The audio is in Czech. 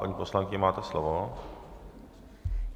Paní poslankyně, máte slovo.